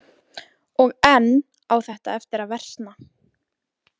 Og enn á þetta eftir að versna.